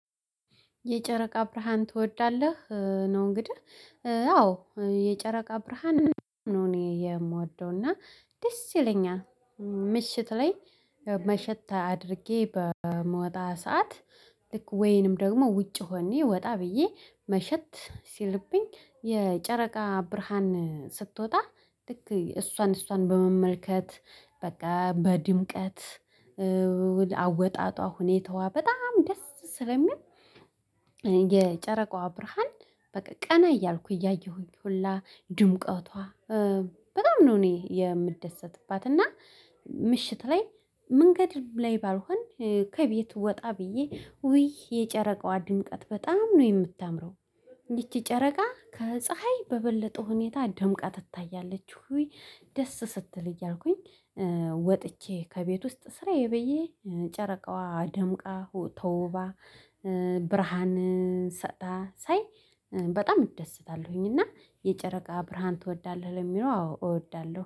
የጨረቃ ብርሃን ትወዳለህ? ነው እንግዲህ አዎ የጨረቃ ብርሃን ነው እኔ የምወደው እና ደስ ይለኛል ምሽት ላይ መሸት አድርጌ በምወጣ ሰዓት ልክ ወይንም ደግሞ ውጭ ሆኜ ወጣ ብዬ መሸት ሲልብኝ የጨረቃ ብርሃን ስትወጣ ልክ እሷን እሷን በመመልከት በቃ በድምቀት አወጣጧ ሁኔታዋ በጣም ደስ ስለሚል የጨረቃዋ ብርሃን በቃ ቀና እያልኩ እያየሁኝ ሁላ ድምቀቷ በጣም ነው እኔ የምደሰትባት እና ምሽት ላይ መንገድ ላይ ባልሆን ከቤቱ ወጣ ብዬ ውይ የጨረቃዋ ድንጠት በጣም ነው የምታምረው እንዴት ጨረቃ ከፀሀይ በበለጠ ሁኔታ ደምቃ ትታያለች ወይ ደስ ስትል እያልኩኝ ወጥቼ ከቤት ውስጥ ስራዬ ብዬ ጨረቃዋ አደምቃ ተውባ ብርሃንን ሳይ በጣም እደስታለሁኝ እና የጨረቃ ብርሃን ትወዳለህ ለሚለው አዎ እወዳለሁ